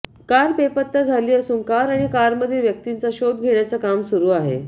car बेपत्ता झाली असून कार आणि कारमधील व्यक्तींचा शोध घेण्याच काम सुरू आहे